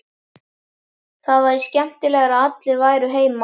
Það væri skemmtilegra að allir væru heima.